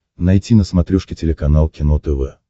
найти на смотрешке телеканал кино тв